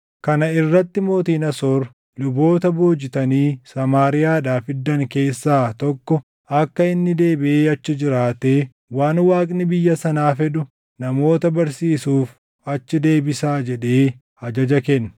Kana irratti mootiin Asoor, “Luboota boojitanii Samaariyaadhaa fiddan keessaa tokko akka inni deebiʼee achi jiraatee waan Waaqni biyya sanaa fedhu namoota barsiisuuf achi deebisaa” jedhee ajaja kenne.